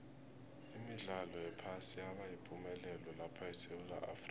imidlalo yephasi yaba yipumelelo lapha esewula afrika